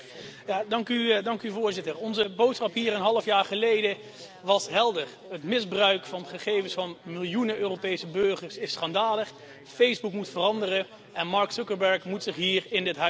Voorzitter, onze boodschap hier een half jaar geleden was helder het misbruik van gegevens van miljoenen Europese burgers is schandalig, Facebook moet veranderen en Mark Zuckerberg moet zich hier in dit Parlement komen verantwoorden.